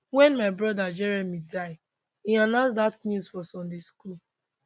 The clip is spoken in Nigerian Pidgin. wen my brother jeremy die e announce dat news for sunday school